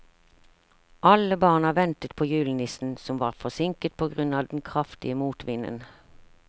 Alle barna ventet på julenissen, som var forsinket på grunn av den kraftige motvinden.